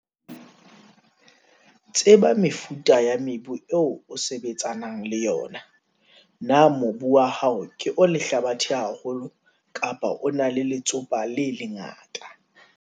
Tseba mefuta ya mebu eo o sebetsanang le yona. Na mobu wa hao ke o lehlabathe haholo kapa o na le letsopa le lengata.